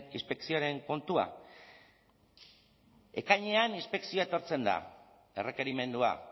inspekzioaren kontua ekainean inspekzioa etortzen da errekerimendua